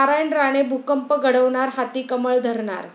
नारायण राणे भूकंप घडवणार, हाती 'कमळ' धरणार?